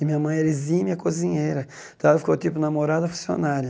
E minha mãe era exímia cozinheira, então ela ficou tipo namorada funcionária.